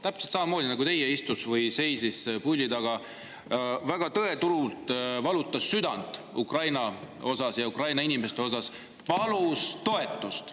Täpselt samamoodi nagu teie seisis puldi taga ja väga tõetruult valutas südant Ukraina ja Ukraina inimeste pärast ning palus toetust.